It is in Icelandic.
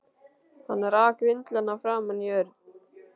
Hann rak vindlana framan í Örn.